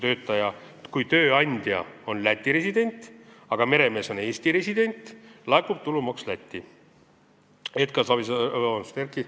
Kui tööandja on Läti resident, aga meremees on Eesti resident, laekub tulumaks Lätti.